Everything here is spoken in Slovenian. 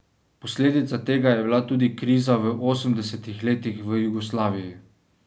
Posledica tega je bila tudi kriza v osemdesetih letih v Jugoslaviji.